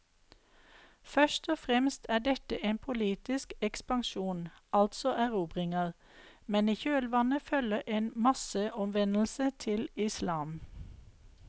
Først og fremst er dette en politisk ekspansjon, altså erobringer, men i kjølvannet følger en masseomvendelse til islam.